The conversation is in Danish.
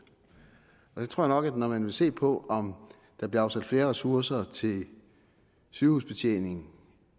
jeg tror nok at man når man ser på om der bliver afsat flere ressourcer til sygehusbetjeningen